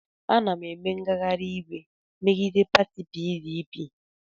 Ana m eme ngagharị iwe megide pati PDP.